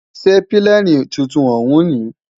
Ṣé pílènì tuntun òún ní?